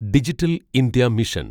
digital India mission